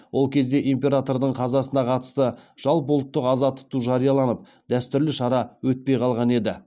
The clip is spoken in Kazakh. ол кезде императордың қазасына қатысты жалпыұлттық аза тұту жарияланып дәстүрлі шара өтпей қалған еді